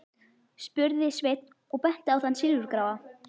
spurði Sveinn og benti á þann silfurgráa.